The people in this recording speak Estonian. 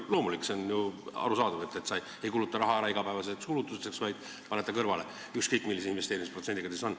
Loomulik, see on ju arusaadav, et sa ei kuluta raha ära igapäevasteks kulutusteks, vaid paned midagi kõrvale, ükskõik milline see investeerimisprotsent siis ka pole.